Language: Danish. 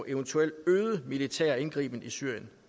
eventuelt øget militær indgriben i syrien